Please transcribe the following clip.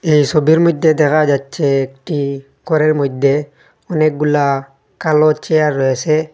এই সোবির মইধ্যে দেখা যাচ্ছে একটি গরের মইধ্যে অনেকগুলা কালো চেয়ার রয়েসে।